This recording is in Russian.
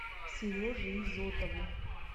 сереже изотову